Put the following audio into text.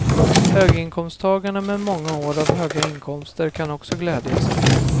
Höginkomsttagarna med många år av höga inkomster kan också glädja sig.